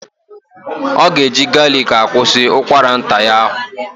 Ọ ga-eji galiki akwusi ụkwara nta ya ahụ.